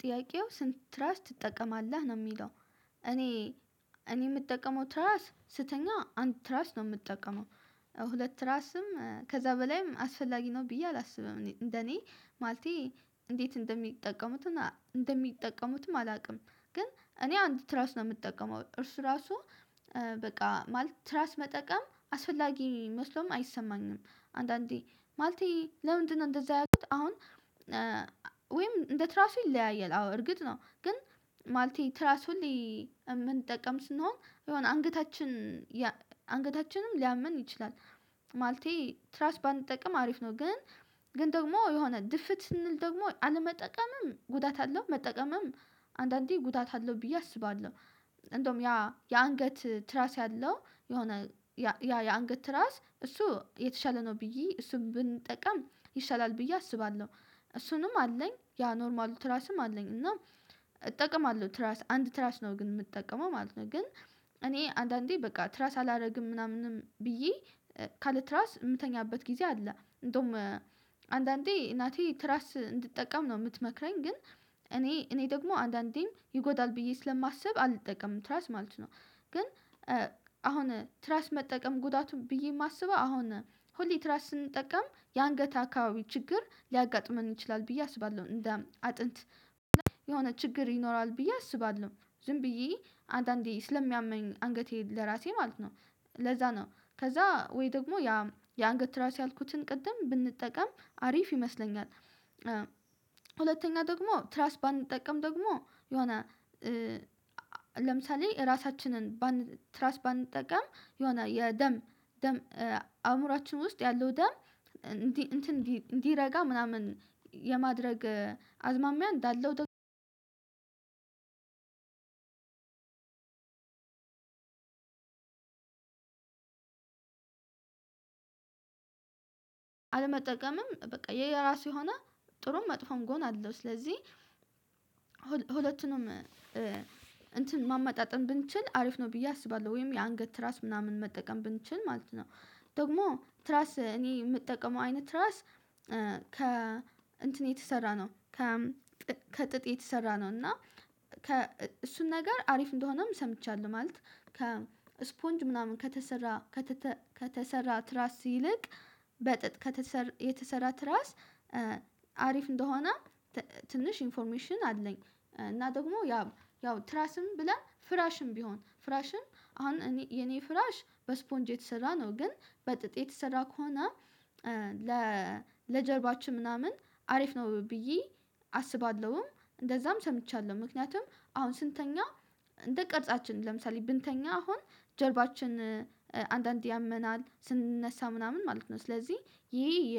ጥያቄው ስንት ትራስ ትጠቀማለህ ነው የሚለው? እኔ እኔ የምጠቀመው ትራስ ስተኛ አንድ ትራስ ነው የምጠቀመው። ሁለት ትራስም ከዛ በላይም አስፈላጊ ነው ብዬ አላስብም እንደኔ ማለቴ እንዴት እንደሚጠቀሙትም እንደሚጠቀሙትም አላውቅም። ግን እኔ አንድ ትራስ ነው የምጠቀመው እርሱ ራሱ በቃ ማለት ትራስ መጠቀም አስፈላጊ መስሎም አይሰማኝም። አንዳንዴ ማለቴ ለምንድነው እንደዛ ያልኩት? አሁን ወይም እንደ ትራሱ ይለያያል አዎ እርግጥ ነው ግን ማለቴ ትራስ ሁሌ የምንጠቀም ስንሆን የሆነ አንገታችን አንገታችንን ሊያምን ይችላል። ማለቴ ትራስ ባንጠቀም አሪፍ ነው። ግን ግን ደግሞ የሆነ ድፍት ስንል ደግሞ አለመጠቀምም ጉዳት አለው መጠቀምም አንዳንዴ ጉዳት አለው ብዬ አስባለሁ። እንደውም ያ የአንገት ትራስ ያለው የሆነ ያ የአንገት ትራስ እሱ የተሻለ ነው ብዬ እሱን ብንጠቀም ይሻላል ብዬ አስባለሁ። እሱንም አለኝ ያ ኖርማሉ ትራስም አለኝ እና እጠቀማለሁ ትራስ አንድ ትራስ ነው ግን የምትጠቀመው ማለት ነው። ግን እኔ አንዳንዴ በቃ ትራስ አላደርግም ምናምንም ብዬ ካለ ትራስ የምተኛበት ጊዜ አለ። እንደውም አንዳንዴ እናቴ ትራስ እንድትጠቀም ነው የምትመክረኝ ግን እኔ እኔ ደግሞ አንዳንዴም ይጎዳል ብዬ ስለማስብ አልጠቀምም ትራስ ማለት ነው። ግን አሁን ትራስ መጠቀም ጉዳቱ ብዬ የማስበው አሁን ሁሌ ትራስ ስንጠቀም የአንገት አካባቢ ችግር ሊያጋጥመን ይችላል ብዬ አስባለሁ እንደ አጥንት የሆነ ችግር ይኖራል ብዬ አስባለሁ። ዝም ብዬ አንዳንዴ ስለሚያመኝ አንገቴ ለራሴ ማለት ነው። ለዛ ነው ከዛ ወይ ደግሞ ያ የአንገት ትራስ ያልኩትን ቅድም ብንጠቀም አሪፍ ይመስለኛል። ሁለተኛ ደግሞ ትራስ ባንጠቀም ደግሞ የሆነ ለምሳሌ ራሳችንን ትራስ ባንጠቀም የሆነ የደም ደም አእምሮአችን ውስጥ ያለው ደም እንዲህ እንትን እንዲረጋ ምናምን የማድረግ አዝማሚያ እንዳለው። አለመጠቀምም በቃ የየራሱ የሆነ ጥሩም መጥፎም ጎን አለው ስለዚህ ሁለቱንም እንትን ማመጣጠን ብንችል አሪፍ ነው ብዬ አስባለሁ። ወይም የአንገት ራስ ምናምን መጠቀም ብንችል ማለት ነው ደግሞ ትራስ እኔ የምጠቀመው አይነት ትራስ። ከ እንትን የተሰራ ነው ከ ከጥጥ የተሰራ ነው እና ከ እሱን ነገር አሪፍ እንደሆነም ሰምቻለሁ። ማለት ከእስፖንጅ ምናምን ከተሰራ ከተሰራ ትራስ ይልቅ በጥጥ የተሰራ ትራስ አሪፍ እንደሆነ ትንሽ ኢንፎርሜሽን አለኝ። እና ደግሞ ያ ያው ትራስም ብለን ፍራሽም ቢሆን ፍራሽም አሁን የኔ ፍራሽ በስፖንጅ የተሰራ ነው። ግን በጥጥ የተሰራ ከሆነ ለጀርባችን ምናምን አሪፍ ነው ብዬ አስባለሁም እንደዛም ሰምቻለሁ። ምክንያቱም አሁን ስንተኛ እንደ ቅርጻችን ለምሳሌ ብንተኛ አሁን ጀርባችን አንዳንድ ያመናል ስንነሳ ምናምን ማለት ነው። ስለዚህ ይሄ የ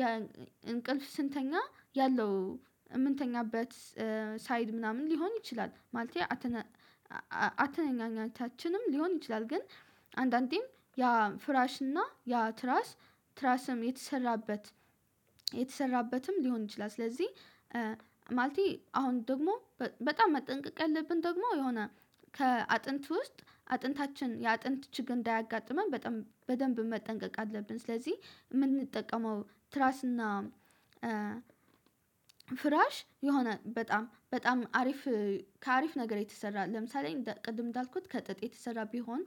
የእንቅልፍ ስንተኛ ያለው የምንተኛበት ሳይድ ምናምን ሊሆን ይችላል ማለቴ። አተኛኘታችንም ሊሆን ይችላል ግን አንዳንዴም ያ ፍራሽ እና ያ ትራስ ትራስም የተሰራበት የተሰራበትም ሊሆን ይችላል። ስለዚህ ማለቴ አሁን ደግሞ በጣም መጠንቀቅ ያለብን ደግሞ የሆነ ከአጥንት ውስጥ አጥንታችን የአጥንት ችግር እንዳያጋጥመን በደንብ መጠንቀቅ አለብን። ስለዚህ የምንጠቀመው ትራስ እና ፍራሽ የሆነ በጣም በጣም አሪፍ ከአሪፍ ነገር የተሰራ ለምሳሌ ቅድም እንዳልኩት ከጥጥ የተሰራ ቢሆን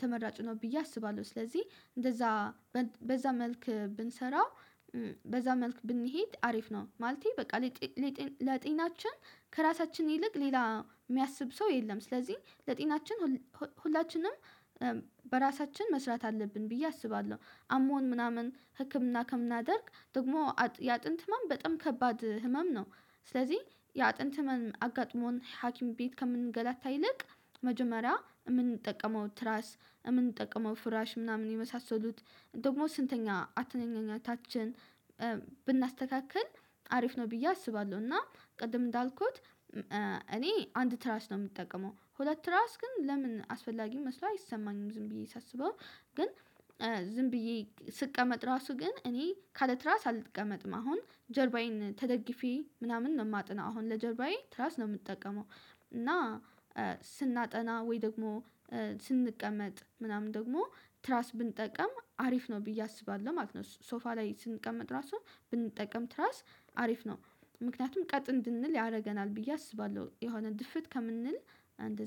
ተመራጭ ነው ብዬ አስባለሁ። ስለዚህ እንደዛ በዛ መልክ ብንሰራው በዛ መልክ ብንሄድ አሪፍ ነው። ማለቴ በቃ ለጤናችን ከራሳችን ይልቅ ሌላ የሚያስብ ሰው የለም። ስለዚህ ለጤናችን ሁላችንም በራሳችን መስራት አለብን ብዬ አስባለሁ። አሞን ምናምን ህክምና ከምናደርግ ደግሞ የአጥንት ህመም በጣም ከባድ ህመም ነው። ስለዚህ የአጥንት ህመም አጋጥሞን ሀኪም ቤት ከምንገላታ ይልቅ መጀመሪያ የምንጠቀመው ትራስ የምንጠቅመው ፍራሽ ምናምን የመሳሰሉት ደግሞ ስንተኛ አተኛኘታችን ብናስተካክል አሪፍ ነው ብዬ አስባለሁ። እና ቅድም እንዳልኩት እኔ አንድ ትራስ ነው የምጠቀመው ሁለት ራስ ግን ለምን አስፈላጊ መስሎ አይሰማኝም ዝም ብዬ ሳስበው ግን። ዝም ብዬ ስቀመጥ ራሱ ግን እኔ ካለ ትራስ አልቀመጥም አሁን ጀርባዬን ተደግፌ ምናምን ነው የማጠናው አሁን ለጀርባዬ ትራስ ነው የምጠቀመው። እና ስናጠና ወይ ደግሞ ስንቀመጥ ምናምን ደግሞ ትራስ ብንጠቀም አሪፍ ነው ብዬ አስባለሁ ማለት ነው። ሶፋ ላይ ስንቀመጥ ራሱ ብንጠቀም ትራስ አሪፍ ነው። ምክንያቱም ቀጥ እንድንል ያደርገናል ብዬ አስባለሁ የሆነ ድፍት ከምንል